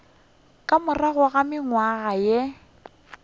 ka morago ga mengwaga ye